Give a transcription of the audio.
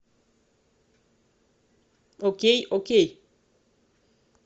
окей окей